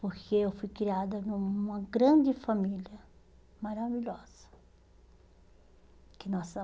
Porque eu fui criada numa grande família, maravilhosa. Que